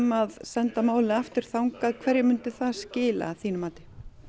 að senda málið aftur þangað hverju myndi það skila að þínu mati